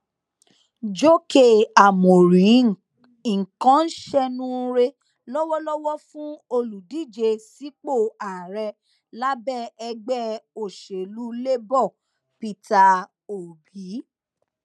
jókè ámórì nǹkan ń ṣẹnuure lọwọlọwọ fún olùdíje sípò ààrẹ lábẹ ẹgbẹ òṣèlú labour peter obi